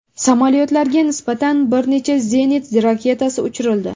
Samolyotlarga nisbatan bir necha zenit raketasi uchirildi.